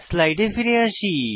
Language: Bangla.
স্লাইডে ফিরে আসি